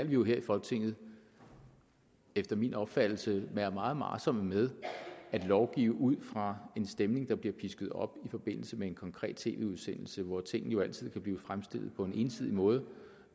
vi jo her i folketinget efter min opfattelse være meget varsomme med at lovgive ud fra en stemning der bliver pisket op i forbindelse med en konkret tv udsendelse hvor tingene altid kan blive fremstillet på en ensidig måde